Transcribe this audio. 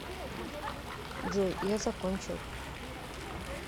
джой я закончил